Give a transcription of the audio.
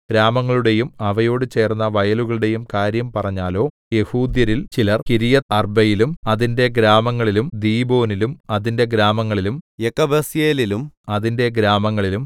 ഗ്രാമങ്ങളുടെയും അവയോട് ചേർന്ന വയലുകളുടെയും കാര്യം പറഞ്ഞാലോ യെഹൂദ്യരിൽ ചിലർ കിര്യത്ത്അർബയിലും അതിന്റെ ഗ്രാമങ്ങളിലും ദീബോനിലും അതിന്റെ ഗ്രാമങ്ങളിലും യെക്കബ്സയേലിലും അതിന്റെ ഗ്രാമങ്ങളിലും